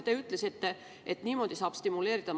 Te ütlesite, et niimoodi saab majandust stimuleerida.